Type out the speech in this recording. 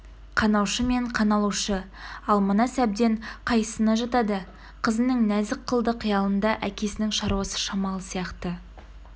қанаушы мен қаналушы ал мына сәбден қайсысына жатады қызының нәзік қылды қиялында әкесінің шаруасы шамалы сияқты